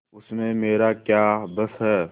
उसमें मेरा क्या बस है